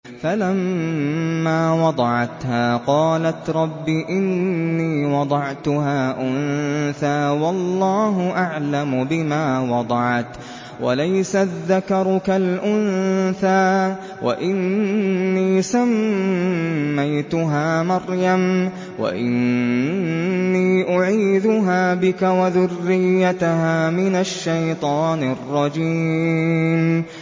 فَلَمَّا وَضَعَتْهَا قَالَتْ رَبِّ إِنِّي وَضَعْتُهَا أُنثَىٰ وَاللَّهُ أَعْلَمُ بِمَا وَضَعَتْ وَلَيْسَ الذَّكَرُ كَالْأُنثَىٰ ۖ وَإِنِّي سَمَّيْتُهَا مَرْيَمَ وَإِنِّي أُعِيذُهَا بِكَ وَذُرِّيَّتَهَا مِنَ الشَّيْطَانِ الرَّجِيمِ